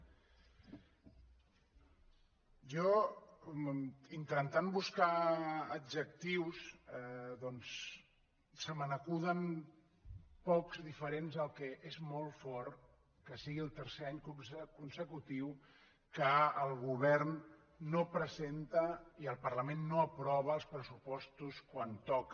jo intentant buscar adjectius doncs se me n’acuden pocs de diferents al que és molt fort que sigui el tercer any consecutiu que el govern no presenta i el parlament no aprova els pressupostos quan toca